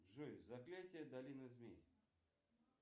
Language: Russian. джой заклятие долины змей